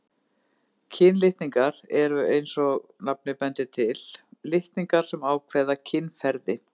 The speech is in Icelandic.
Kynlitningar eru, eins og nafnið bendir til, litningar sem ákvarða kynferði.